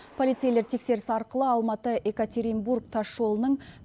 полицейлер тексеріс арқылы алматы екатеринбург тасжолының